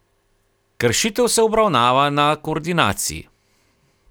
Kršitev se obravnava na koordinaciji.